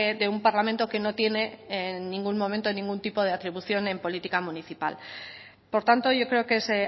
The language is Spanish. de un parlamento que no tiene en ningún momento ningún tipo de atribución en política municipal por tanto yo creo que es